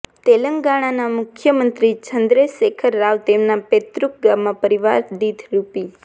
તેલંગાણાના મુખ્યમંત્રી ચન્દ્રશેખર રાવ તેમના પૈતૃક ગામમાં પરિવારદીઠ રૂ